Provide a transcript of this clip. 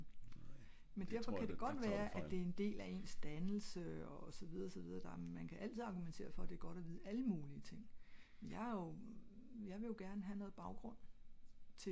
men derfor ka det godt være det en del af ens dannelse og så videre så videre dog man kan altid argumenterer for at det er godt at vide alle mulige ting jeg er jeg vil jo gerne ha noget baggrund